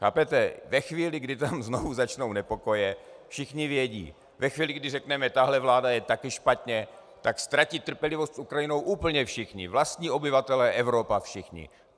Chápete, ve chvíli, kdy tam znovu začnou nepokoje, všichni vědí, ve chvíli, kdy řekneme: tahle vláda je taky špatně, tak ztratí trpělivost s Ukrajinou úplně všichni, vlastní obyvatelé, Evropa, všichni.